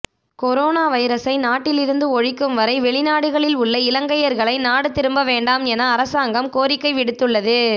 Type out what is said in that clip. corona வைரஸை நாட்டிலிருந்து ஒழிக்கும் வரை வெளிநாடுகளில் உள்ள இலங்கையர்களை நாடு திரும்பவேண்டாமென அரசாங்கம் கோரிக்கை விடுத்துள்ளது